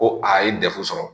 Ko a ye degun sɔrɔ